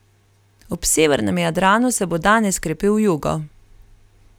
Ob severnem Jadranu se bo danes krepil jugo.